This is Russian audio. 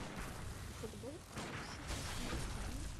футбол апл сити с ливерпулем